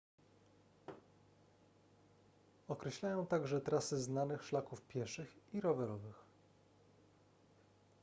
określają także trasy znanych szlaków pieszych i rowerowych